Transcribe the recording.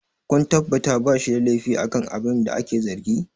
kun tabbatar ba shi da laifi akan abina ake zargi!